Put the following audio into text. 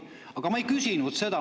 Aga ma ei küsinud seda.